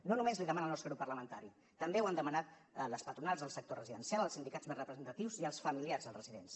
no només l’hi demana el nostre grup parlamentari també ho han demanat les patronals del sector residencial els sindicats més representatius i els familiars dels residents